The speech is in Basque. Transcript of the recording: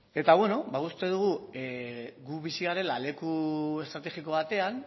eta beno uste dugu gu bizi garela leku estrategiko batean